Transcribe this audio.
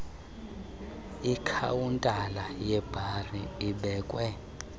ikhawuntala yebhari ebekwe